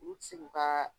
U ti se k'u ka